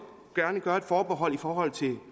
gerne gøre et forbehold i forhold til